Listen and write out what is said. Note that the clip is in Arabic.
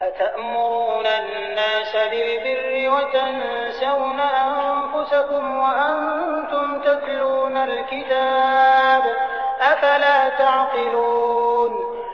۞ أَتَأْمُرُونَ النَّاسَ بِالْبِرِّ وَتَنسَوْنَ أَنفُسَكُمْ وَأَنتُمْ تَتْلُونَ الْكِتَابَ ۚ أَفَلَا تَعْقِلُونَ